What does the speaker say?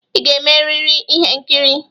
Ị ga-emeriri ihe nkiri.